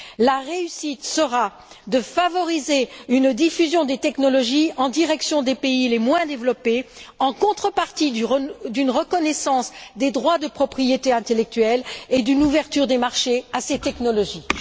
La réussite sera de favoriser une diffusion des technologies en direction des pays les moins développés, en contrepartie d'une reconnaissance des droits de propriété intellectuelle et d'une ouverture des marchés à ces technologies.